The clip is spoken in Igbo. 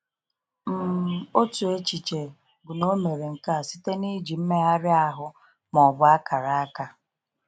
um Otu echiche bụ na o mere nke a site n’iji mmegharị ahụ ma ọ bụ akara aka.